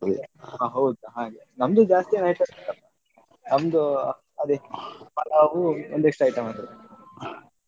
ಹ ಹೌದಾ ಹಾಗೆ ನಮ್ದು ಜಾಸ್ತಿ ಏನ್ items ಏನಿಲ್ಲ ನಮ್ದು ಅದೇ ಪಲಾವ್ ಒಂದಿಷ್ಟು items